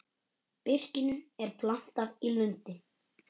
Birkinu er plantað í lundi.